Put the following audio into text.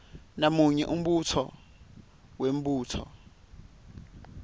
namunye umbuto wemibuto